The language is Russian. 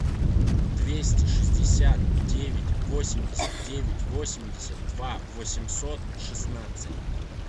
двести шестьдесят девять восемьдесят девять восемьдесят два восемьсот шестнадцать